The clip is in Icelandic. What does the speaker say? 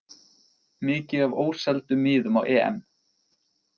Mikið af óseldum miðum á EM